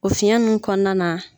O fiyɛn ninnu kɔnɔna na.